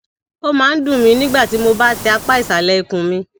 ó máa ń dùn mí nígbà tí mo bá tẹ apá ìsàlẹ ikùn mi